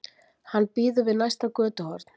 Hann bíður við næsta götuhorn.